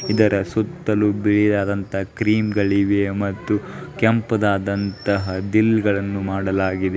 ಇದರ ಸುತ್ತಲೂ ಬಿಳಿಯಾದಂತಾ ಕ್ರೀಮ್ಗಳಿವೆ ಮತ್ತು ಕೆಂಪುದಾದಂತಹ ದಿಲ್ಗಳನ್ನು ಮಾಡಲಾಗಿದೆ.